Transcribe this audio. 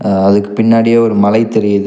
அதுக்கு பின்னாடியே ஒரு மலை தெரியி--